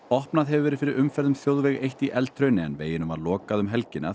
opnað hefur verið fyrir umferð um þjóðveg eitt í Eldhrauni en veginum var lokað um helgina